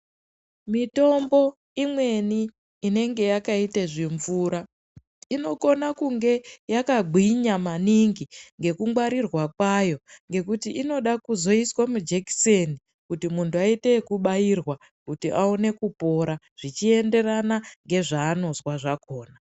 Mitombo imweni inenge yakaita zvimvura inokhona kunge yakagwinya maningi ngekungwarirwa kwayo ngekuti inoda kuzoiswa majekiseni kuti munhu aite yekubairwa kuti awone kupora zvichienderana ngezvanozwa zvakhona .